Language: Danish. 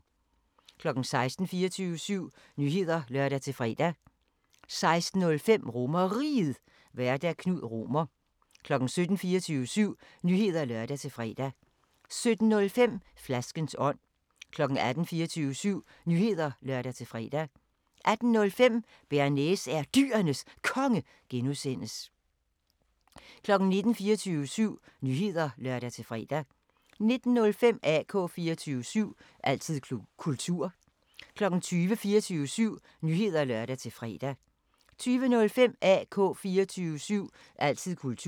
16:00: 24syv Nyheder (lør-fre) 16:05: RomerRiget, Vært: Knud Romer 17:00: 24syv Nyheder (lør-fre) 17:05: Flaskens ånd 18:00: 24syv Nyheder (lør-fre) 18:05: Bearnaise er Dyrenes Konge (G) 19:00: 24syv Nyheder (lør-fre) 19:05: AK 24syv – altid kultur 20:00: 24syv Nyheder (lør-fre) 20:05: AK 24syv – altid kultur